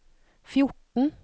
fjorten